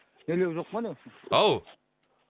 нелер жоқпа не ау